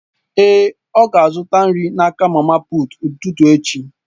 Èé, ọ ga-azụta nri n'aka mama puut n'ụtụtụ echi.